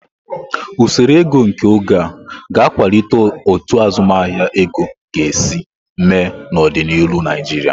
Usoro ego nke oge a, ga akwalite otu azụmahịa ego ga-esi mee n'ọdịnihu Naijiria.